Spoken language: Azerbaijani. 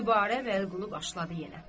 Dübarə Vəliqulu başladı yenə.